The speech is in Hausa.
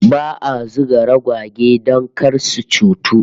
Ba'a zuga ragwage don kar su cutu